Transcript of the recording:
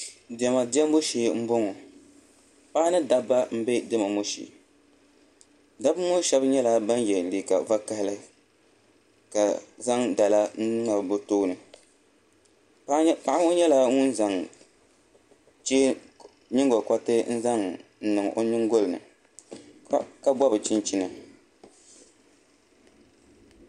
Diɛma diɛmbu shee n boŋo paɣa ni dabba n bɛ diɛma ŋo diɛmbu shee dabba ŋo shab nyɛla ban yɛ liiga vakaɣali ka zaŋ dala n ŋmabi bi tooni paɣa ŋo nyɛla ŋun zaŋ nyingokoriti n niŋ o nyingoli ni ka gobi chinchin